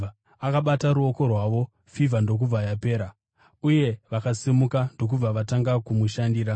Akabata ruoko rwavo fivha ndokubva yapera, uye vakasimuka ndokubva vatanga kumushandira.